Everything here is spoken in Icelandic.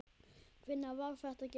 Hvenær var það gert?